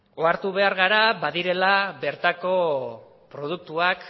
ohartu behar gara badirela bertako produktuak